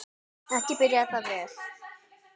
Ekki byrjaði það vel.